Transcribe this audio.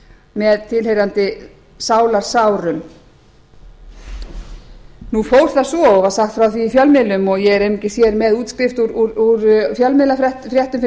með tilheyrandi sálarsárum nú fór það svo og var sagt frá því í fjölmiðlum og ég er einungis hér með útskrift úr fjölmiðlafréttum fyrir framan